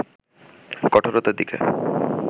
কঠোরতার দিকে